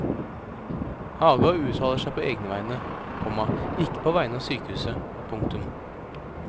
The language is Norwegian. Haga uttaler seg på egne vegne, komma ikke på vegne av sykehuset. punktum